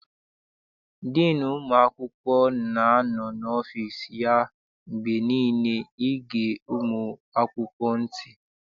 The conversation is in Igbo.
Diinu ụmụ akwụkwọ na-anọ n'ọfịịsi ya mgbe niile ịge ụmụ akwụkwọ ntị.